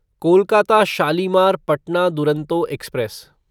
Kolkata Shalimar Patna Duronto express